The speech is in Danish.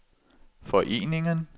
foreningen